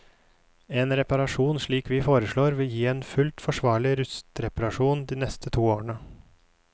En reparasjon slik vi foreslår, vil gi en fullt forsvarlig rustreparasjon de neste to årene.